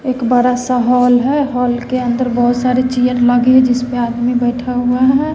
एक बड़ा सा हॉल है हॉल के अंदर बहोत सारी चेयर लगी है जिसपे आदमी बैठा हुआ है।